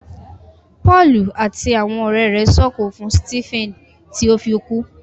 Pọọlù àti àwọn ọrẹ rẹ s'oko fún Stephen ti o fí kú.